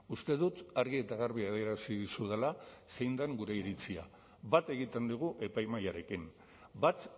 uste dut argi eta garbi adierazi dizudala zein den gure iritzia bat egiten dugu epaimahaiarekin bat